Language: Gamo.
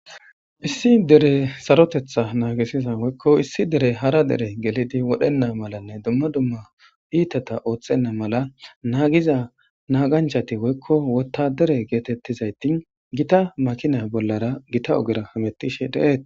Issi dere sarotetha naagisiza woykko issi dere hara dere gelidi wodhenna malanne dumma dumma iitata oothxhenna mala naagiza naaganchati woykko wotta dere geetettizayti gita makinay bollara gita ogera hamettishe deeet.